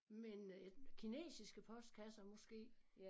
Men øh kinesiske postkasser måske